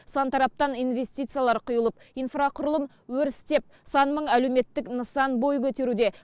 сан тараптан инвестициялар құйылып инфрақұрылым өрістеп сан мың әлеуметтік нысан бой көтеруде